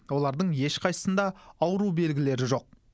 олардың ешқайсысында ауру белгілері жоқ